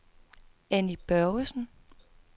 Anni Børgesen